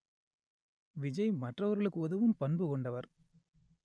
விஜய் மற்றவர்களுக்கு உதவும் பண்பு கொண்டவர்